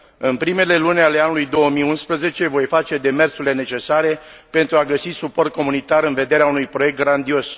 În primele luni ale anului 2011 voi face demersurile necesare pentru a găsi suport comunitar în vederea unui proiect grandios.